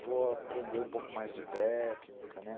vou aprender um pouco mais de técnica, né.